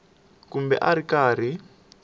kumbe a a ri karhi